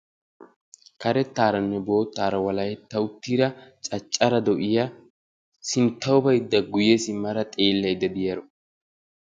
Karettaaranne boottaara walahetta uttida caccare do'iya sinttawu bayidda guyye simmara xeellayidda diyaaro.